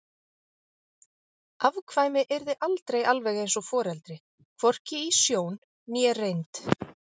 Afkvæmi yrði aldrei alveg eins og foreldri, hvorki í sjón né reynd.